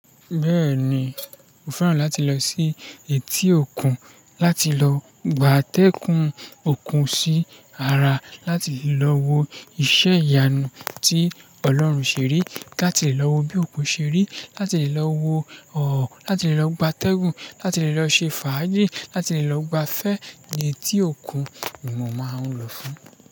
Bẹ́ẹ̀ni, mo fẹ́ràn láti lọ sí etí òkun láti lọ gbátẹ́kùn òkun sí ara, láti lè lọ wo iṣẹ́ ìyanu tí Ọlọ́run ṣe rí, láti lè lọ wo bí òkun ṣe rí, láti lè lọ wo ọ̀ọ̀, láti lè lọ gbátẹ́gùn, láti lè lọ ṣe fàájì, láti lè lọ gbafẹ́ ni etí òkun ni mo máa ń lọ fún.